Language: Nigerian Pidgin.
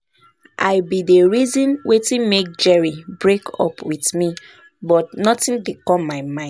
I bin dey reason wetin make Jerry break up with me but nothing dey come my mind